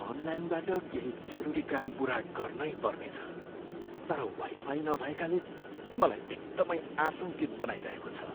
अनलाइनबाट केही जरुरी काम पुरा गर्नैपर्ने छ, तर वाइफाई नभएकाले मलाई एकदमै आशङ्कित बनाइरहेको छ।